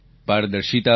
પારદર્શિતા આવી